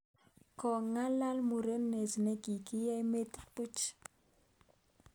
Kogong'alaal murenet ne kigieny metit puch